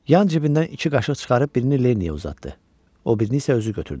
Yan cibindən iki qaşıq çıxarıb birini Lenniyə uzatdı, o birini isə özü götürdü.